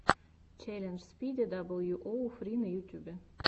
челлендж спиди дабл ю оу фри на ютубе